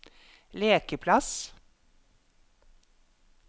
lekeplass